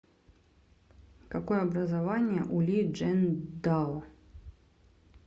какое образование у ли чжэндао